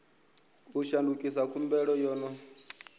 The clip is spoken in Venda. u shandukisa khumbelo yo no